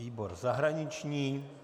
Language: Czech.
Výbor zahraniční.